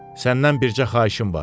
Səndən bircə xahişim var.